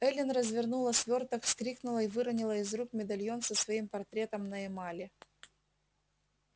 эллин развернула свёрток вскрикнула и выронила из рук медальон со своим портретом на эмали